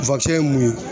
ye mun ye